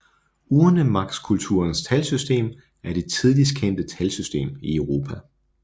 Urnemarkskulturens talsystem er det tidligst kendte talsystem i Europa